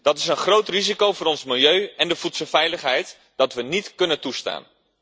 Dat is een groot risico voor ons milieu en de voedselveiligheid dat we niet kunnen toestaan.